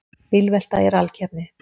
Bílvelta í rallkeppni